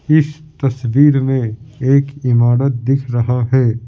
इस तस्वीर में एक इमारत दिख रहा है ।